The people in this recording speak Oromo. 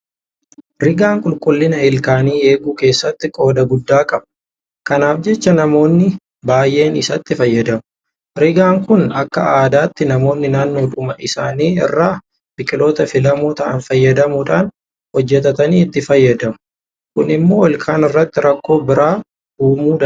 Rigaan qulqullina Ilkaanii eeguu keessatti qooda guddaa qaba. Kanaaf jecha namoonni baay'een isatti fayyadamu. Rigaan kun akka aadaatti namoonni naannoodhuma isaanii irraa biqiltoota filamoo ta'an fayyadamuudhaan hojjetatanii itti fayyadamu. Kun immoo ilkaan irratti rakkoo biraa uumuu danda'a.